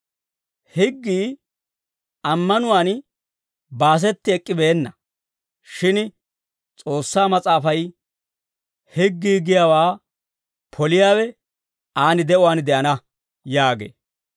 Higgii ammanuwaan baasetti ek'k'ibeenna; shin S'oossaa Mas'aafay, «Higgii giyaawaa poliyaawe aan de'uwaan de'ana» yaagee.